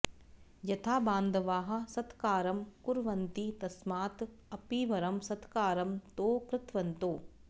यथा बान्धवाः सत्कारं कुर्वन्ति तस्मात् अपि वरं सत्कारं तौ कृतवन्तौ